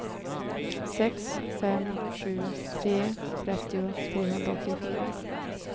sex fem sju tre trettio trehundraåttiofyra